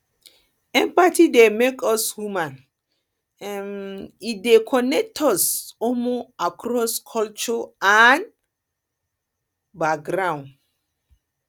empathy dey make us human um e dey connect us um across cultures and um backgrounds